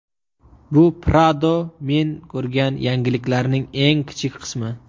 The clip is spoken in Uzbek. Bu Prado men ko‘rgan yaxshiliklarning eng kichik qismi.